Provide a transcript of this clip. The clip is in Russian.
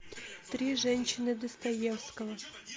три женщины достоевского